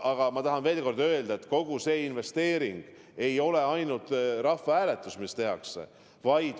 Aga ma tahan veel kord öelda, et kogu see investeering ei ole ainult rahvahääletuse jaoks, mis tehakse.